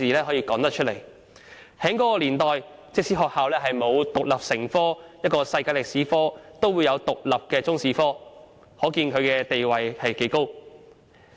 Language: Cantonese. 在那些年代，即使學校沒有把世界歷史獨立成科，也有獨立的中史科，可見其地位之高。